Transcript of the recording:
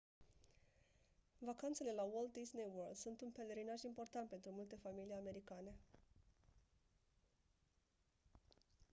vacanțele la walt disney world sunt un pelerinaj important pentru multe familii americane